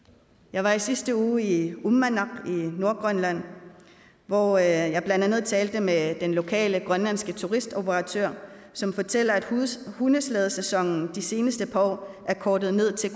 jeg var i sidste uge i uummannaq i nordgrønland hvor jeg blandt andet talte med den lokale grønlandske turistoperatør som fortalte at hundeslædesæsonen de seneste par år er kortet ned til